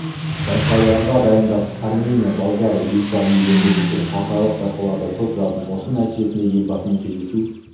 байқауларға дайындап армения болгария литва елдерінде өткен халықаралық байқауларда топ жардым осының нәтижесінде елбасымен кездесу